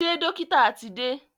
Ṣé dọ́kítà ti dé?